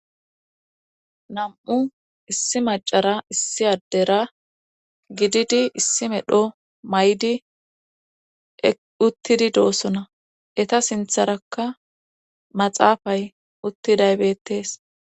nam7u issi macara issi addera gididi issi medho may7di uttidi doosona eta sintharakka maxaafay uttiday bettees